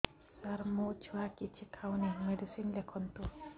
ସାର ମୋ ଛୁଆ କିଛି ଖାଉ ନାହିଁ ମେଡିସିନ ଲେଖନ୍ତୁ